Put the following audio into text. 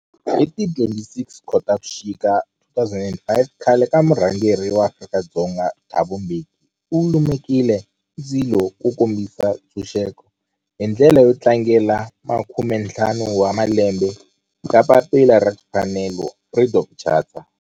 Hi ti 26 Khotavuxika 2005 khale ka murhangeri wa Afrika-Dzonga Thabo Mbeki u lumekile ndzilo wo kombisa ntshuxeko, hi ndlela yo tlangela makumentlhanu wa malembe ya papila ra timfanelo, Freedom Charter.